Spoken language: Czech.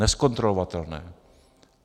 Nezkontrolovatelné.